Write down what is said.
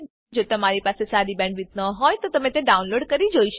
જો તમારી પાસે સારી બેન્ડવિડ્થ ન હોય તો તમે વિડીયો ડાઉનલોડ કરીને જોઈ શકો છો